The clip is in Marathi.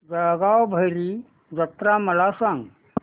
जळगाव भैरी जत्रा मला सांग